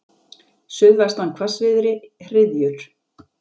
Suðvestan hvassviðri, hryðjur.